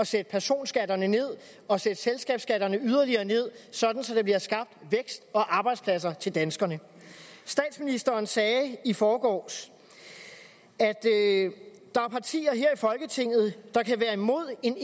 sætte personskatterne ned og sætte selskabsskatterne yderligere ned sådan så der bliver skabt vækst og arbejdspladser til danskerne statsministeren sagde i forgårs at der er partier her i folketinget der kan være imod en